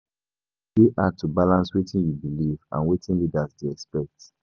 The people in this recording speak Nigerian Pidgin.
E dey hard to balance wetin you believe and wetin leaders dey expect.